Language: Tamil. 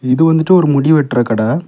இது வந்துட்டு ஒரு முடிவெற்ற கட.